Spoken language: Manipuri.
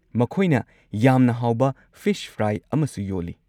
ꯃꯈꯣꯏꯅ ꯌꯥꯝꯅ ꯍꯥꯎꯕ ꯐꯤꯁ ꯐ꯭ꯔꯥꯏ ꯑꯃꯁꯨ ꯌꯣꯜꯂꯤ꯫